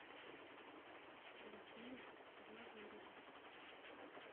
василия глазырина